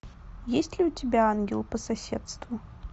есть ли у тебя ангел по соседству